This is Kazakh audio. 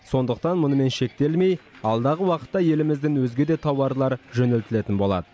сондықтан мұнымен шектелмей алдағы уақытта елімізден өзге де тауарлар жөнелтілетін болады